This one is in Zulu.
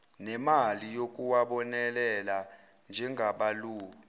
nemali yokuwabonelela njengabalawuli